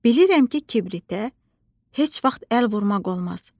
Bilirəm ki kibritə heç vaxt əl vurmaq olmaz.